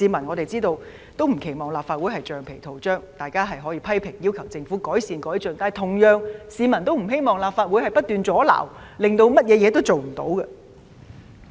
我們知道，市民也不希望立法會是橡皮圖章，大家可以批評，要求政府改善和改進，但同樣地，市民也不希望立法會不斷阻撓，以致甚麼事情也做不了。